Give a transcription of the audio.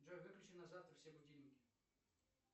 джой выключи на завтра все будильники